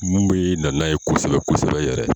Mun bɛ na ye kosɛbɛ kosɛbɛ yɛrɛ.